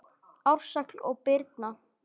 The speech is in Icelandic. Ársæll og Birna.